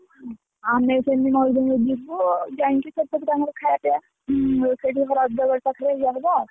ଆମେ ସେ ମୟୂରଭଞ୍ଜ ଯିବୁ ଯାଇକି ସେପଟେତ ଆମର ଖାଇଆ ପିଆ, ପାଖରେ ଇଏ ହବ ଆଉ।